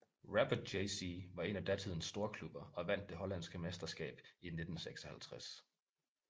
Rapid JC var en af datidens storklubber og vandt det hollandske mesterskab i 1956